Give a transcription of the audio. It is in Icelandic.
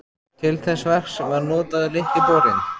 Til þess verks var notaður Litli borinn.